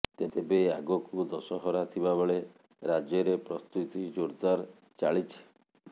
ତେବେ ଆଗକୁ ଦଶହରା ଥିବାବେଳେ ରାଜ୍ୟରେ ପ୍ରସ୍ତୁତି ଜୋରଦାର ଚାଳିଛି